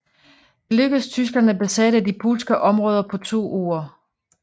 Det lykkedes Tyskland at besætte de polske områder på to uger